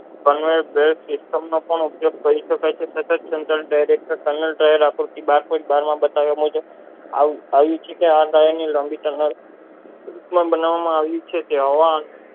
આવી છે કે આ ગાળાની ની લાંબી સારવાર બનાવામાં આવી છે હવા